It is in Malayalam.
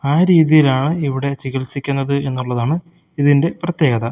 ആ രീതിയിലാണ് ഇവിടെ ചികിത്സിക്കുന്നത് എന്നുള്ളതാണ് ഇതിന്റെ പ്രത്യേകത.